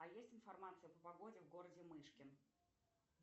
а есть информация по погоде в городе мышкин